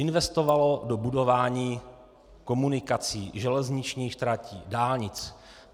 Investovalo do budování komunikací, železničních tratí, dálnic.